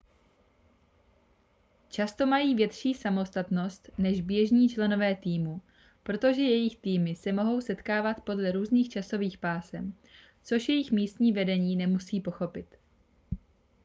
často mají větší samostatnost než běžní členové týmu protože jejich týmy se mohou setkávat podle různých časových pásem což jejich místní vedení nemusí pochopit